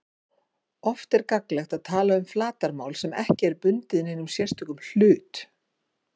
Oft er gagnlegt að tala um flatarmál sem ekki er bundið neinum sérstökum hlut.